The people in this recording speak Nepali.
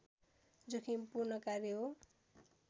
जोखिमपूर्ण कार्य हो